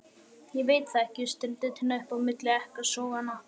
Ég veit það ekki, stundi Tinna upp á milli ekkasoganna.